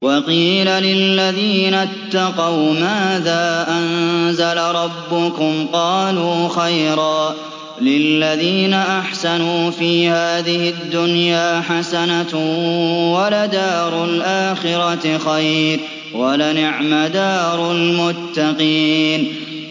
۞ وَقِيلَ لِلَّذِينَ اتَّقَوْا مَاذَا أَنزَلَ رَبُّكُمْ ۚ قَالُوا خَيْرًا ۗ لِّلَّذِينَ أَحْسَنُوا فِي هَٰذِهِ الدُّنْيَا حَسَنَةٌ ۚ وَلَدَارُ الْآخِرَةِ خَيْرٌ ۚ وَلَنِعْمَ دَارُ الْمُتَّقِينَ